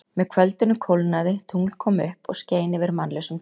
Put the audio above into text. Með kvöldinu kólnaði, tungl kom upp og skein yfir mannlausum dal.